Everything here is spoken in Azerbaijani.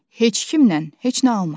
Heç kimlə heç nə alma.